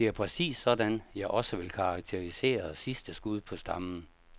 Det er præcis sådan, jeg også vil karakterisere sidste skud på stammen.